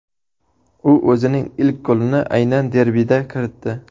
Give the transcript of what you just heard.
U o‘zining ilk golini aynan derbida kiritdi.